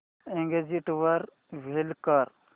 exit वर click कर